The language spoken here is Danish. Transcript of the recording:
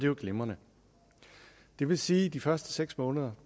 jo glimrende det vil sige at de første seks måneder